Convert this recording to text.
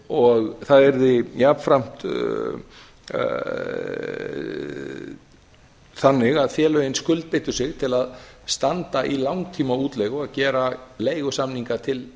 og það yrði jafnframt þannig að félögin skuldbyndu sig til að standa í langtíma útleigu og gera leigusamning til